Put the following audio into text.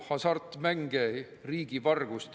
Tuletan teema raames meelde ühte, ütleme siis, meie aja kangelast.